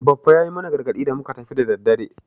Baffa ya yi mana gargadi da muka tafi da daddare.